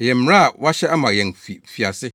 Ɛyɛ mmara a wɔahyɛ ama yɛn fi mfiase.